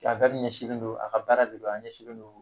Ka wɛri ɲɛsinlen don a ka baara de don an ɲɛsinlen don